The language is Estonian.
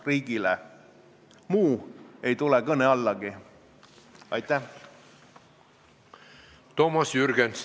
Tarmo Kruusimäe ütles – see on ka siit puldist täna paar korda kõlanud –, et vist kolmel korral on see sunniraha ülemmäär kümnekordseks tõstetud ja lähtuti samast põhimõttest.